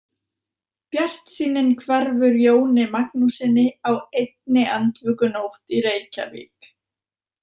Bjartsýnin hverfur Jóni Magnússyni á einni andvökunótt í Reykjavík.